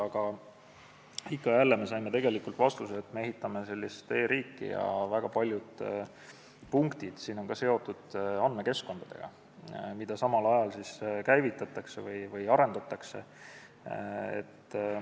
Aga ikka ja jälle saime vastuse, et me ehitame e-riiki ja väga paljud punktid on seotud andmekeskkondadega, mida samal ajal käivitatakse või arendatakse.